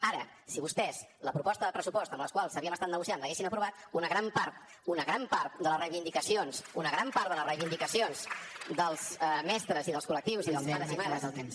ara si vostès la proposta de pressupost amb la qual havíem estat negociant l’haguessin aprovat una gran part una gran part de les reivindicacions una gran part de les reivindicacions dels mestres i dels col·lectius i dels pares i mares